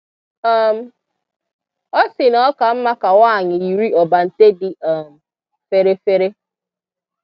um Ọ sị na ọ ka mma ka nwanyị yiri ọbànte dị um fèrè fèrè.